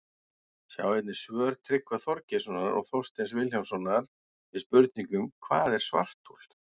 Sjá einnig svör Tryggva Þorgeirssonar og Þorsteins Vilhjálmssonar við spurningunum Hvað er svarthol?